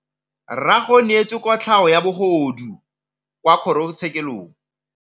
Rragwe o neetswe kotlhaô ya bogodu kwa kgoro tshêkêlông.